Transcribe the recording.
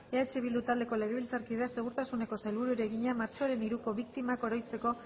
eh bildu taldeko legebiltzarkideak segurtasuneko sailburuari egina martxoaren hiruko biktimak oroitzeko